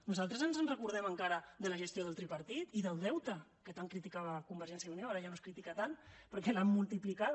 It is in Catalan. nosaltres ens en recordem encara de la gestió del tripartit i del deute que tant criticava convergència i unió ara ja no es critica tant perquè l’ha multiplicat